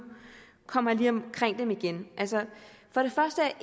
kommer jeg lige omkring dem igen for det første er